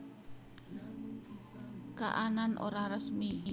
Kaanan Ora Resmi